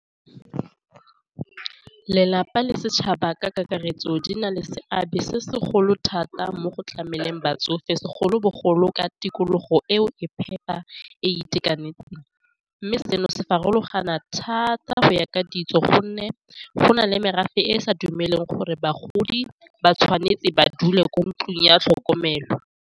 Lelapa le setšhaba ka kakaretso di na le seabe se segolo thata mo go tlameleng batsofe segolobogolo ka tikologo eo e phepa e itekanetseng, mme seno se farologana thata go ya ka ditso gonne go na le merafe e e sa dumele gore bagodi ba tshwanetse ba dule kwa ntlung ya tlhokomelo.